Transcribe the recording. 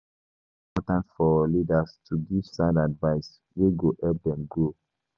E dey important for leaders to give sound advice wey go help dem grow.